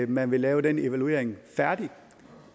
man vil lave den evaluering færdig